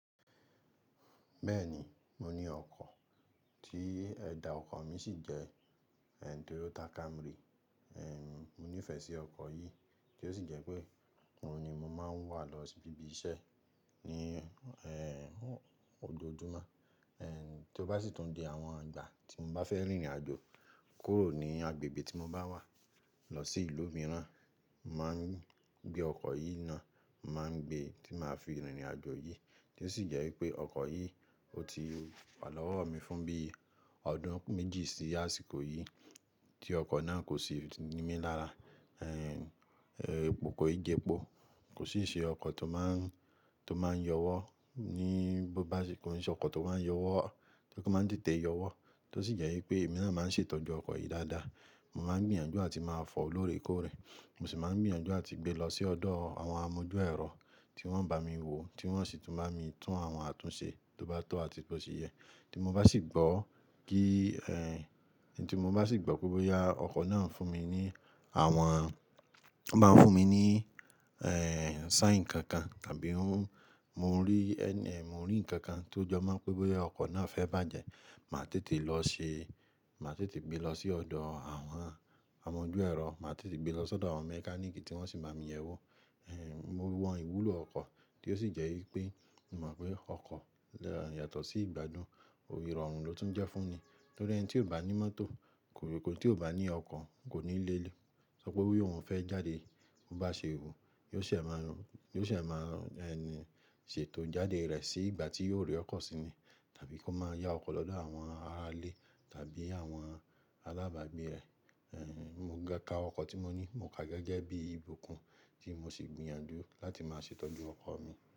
Bẹ́ẹ̀ni, mo ní ọkọ̀, tí ẹ̀dà ọkọ̀ mi sì jẹ́ Toyota Camry. Mo nífẹ̀ẹ́ sí ọkọ̀ yìí tí ó sì jẹ́ pé òun ni mo máa ń wà lọ sí ibi iṣẹ́ ní, ojòjuma. Tí ó bá sì tún di àwọn ìgbà tí mo bá fẹ́ rìnrìn àjò kúrò ní agbègbè tí mo bá wà lọ sí ìlú mìíràn, n mà gbé ọkọ̀ yìí náà, n mà n gbé tí màá fi rìnrìn àjò yìí. Tí ó sì jẹ́ wípé ọkọ̀ yìí, ó ti wà lọ́wọ́ mi fún bí i ọdún méjì sí àsìkò yìí tí ọkọ̀ náà kò sì nímí lára. Ko kan i je pò, kò sì ṣe ọkọ̀ tó máa ń, tó máa ń yọwọ́ ní bo bá se, kò n ṣe ọkọ̀ tó máa ń yọwọ́, kí ó máa ń tètè yọwọ́. Tí ó sì jẹ́ wípé èmi náà máa ń ṣètọ́jú ọkọ̀ yìí dáadáa. Mo máa ń gbìyànjú àti máa fò lóore kóòrè. Mo sì máa ń gbìyànjú àti gbé lọ sí ọ̀dọ̀ àwọn amójúẹ̀rọ tí wọ́n ń bá mi wo, tí wọ́n sì tún bá mi tún àwọn àtúnṣe tó bá tọ́ àti bó ṣe yẹ. Tí mo bá sì gbọ́ kí, tí mo bá sì gbọ́ pé bo ya ọkọ̀ náà ń fún mi ní àwọn-- ó máa ń fún mi ní, sìgn kankan tàbí ó ń-- mo rí ẹ́, mo rí ǹkan kan tó jọ máa ń pé bo ya ọkọ̀ náà fẹ́ bàjẹ́, màá tètè lọ ṣe-- màá tètè gbé lọ sí ọ̀dọ̀ àwọn amójúẹ̀rọ, màá tètè gbé lọ sọ́dọ̀ àwọn mẹkáníìkì tí wọ́n sì bá mi yẹ ẹ́ wò. Mo maa ìwúlò ọkọ̀ tí ó sì jẹ́ wípé mo mọ̀ pé ọkọ̀ yàtọ̀ sí ìgbádùn, ìrorun ló tún jẹ́ fún mi. Nítorí ẹni tí ò bá ní mọ́tò, kòlèto eni tí ò bá ní ọkọ̀ kò ní lè lo. Ṣọ pé bí òun fẹ́ jáde, ó bá ṣe ròò, yóò se máa, yo se máa ń, ṣètò jáde rẹ̀ sí ìgbà tí yóò rí ọkọ̀ si ni. Tàbí kó máa yá ọkọ̀ lọ́dọ̀ àwọn ará ilé tàbí àwọn alábàágbé rẹ̀. Mi o gará ọkọ̀ tí mo ní, mo ká gẹ́gẹ́ bí ìbùkún tí mo sì gbìyànjú láti máa ṣètọ́jú ọkọ̀ mi.